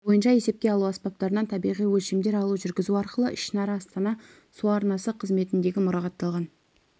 бойынша есепке алу аспаптарынан табиғи өлшемдер алу жүргізу арқылы ішінара астана су арнасы қызметіндегі мұрағатталған